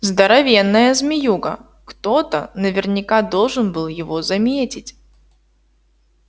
здоровенная змеюга кто-то наверняка должен был его заметить